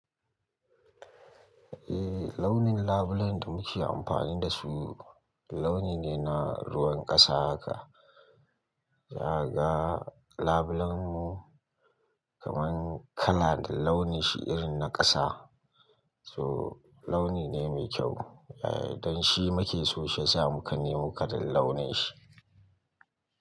Eh launin labillen ɗin muke amfani da su launi ne na ruwan ƙasa haka. Zakaga label ɗin mu kaman kala da launin shi irin na ƙasa. So launi ne mai kyau. Don shi muke so shi ya sa mu ka nemi kalar launin shi.